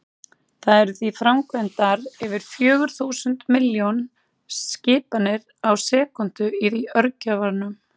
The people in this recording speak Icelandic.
Það eru því framkvæmdar yfir fjögur þúsund milljón skipanir á sekúndu í örgjörvanum!